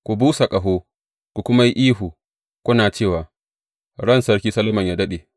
Ku busa ƙaho, ku kuma yi ihu, kuna cewa, Ran Sarki Solomon yă daɗe!’